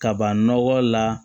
Kaban nɔgɔ la